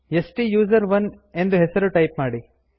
ಸ್ಟುಸೆರೋನ್ ಎಂದು ಹೆಸರು ಟೈಪ್ ಮಾಡಿ